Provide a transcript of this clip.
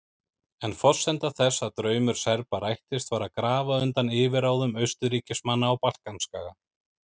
En forsenda þess að draumur Serba rættist var að grafa undan yfirráðum Austurríkismanna á Balkanskaga.